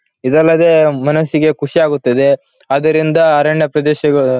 ಇದಲ್ಲದೆ ಮನಸಿಗೆ ಖುಷಿಯಾಗುತ್ತದೆ. ಅದರಿಂದ ಅರಣ್ಯ ಪ್ರದೇಶಗಳು--